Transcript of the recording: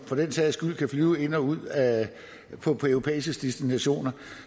for den sags skyld flyve ind og ud af europæiske destinationer